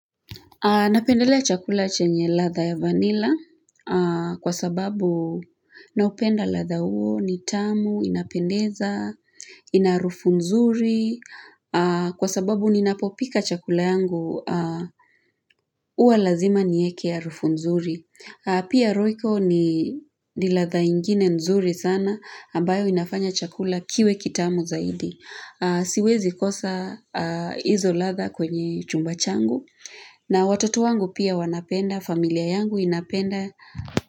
Napendelea chakula chenye ladha ya vanilla kwa sababu naupenda ladha huo ni tamu inapendeza, ina harufu nzuri kwa sababu ninapopika chakula yangu hua lazima nieke harufu nzuri. Pia royco ni ladha ingine nzuri sana, ambayo inafanya chakula kiwe kitamu zaidi. Siwezi kosa hizo ladha kwenye chumba changu. Na watoto wangu pia wanapenda, familia yangu inapenda.